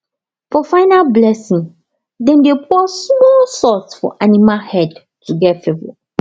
for final blessing dem dey pour small salt for animal head to get favour